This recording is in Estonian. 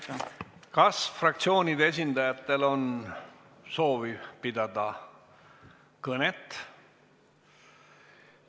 Kas fraktsioonide esindajatel on soovi kõnet pidada?